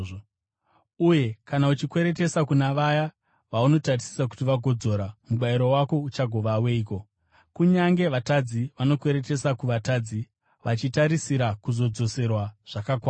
Uye kana uchikweretesa kuna vaya vaunotarisira kuti vagodzora, mubayiro wako uchagova weiko? Kunyange vatadzi vanokweretesa kuvatadzi, vachitarisira kuzodzoserwa zvakakwana.